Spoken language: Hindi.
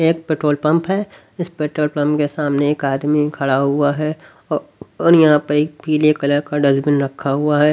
एक पेट्रोल पंप इस पेट्रोल पंप के सामने एक आदमी खड़ा हुआ है और और यहां पर एक पीले कलर का डस्टबिन रखा हुआ है.